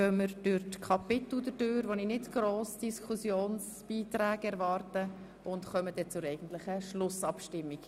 Danach werden wir durch die Kapitel hindurch gehen, wo ich nicht viele Diskussionsbeiträge erwarte und kommen anschliessend zur eigentlich Schlussabstimmung.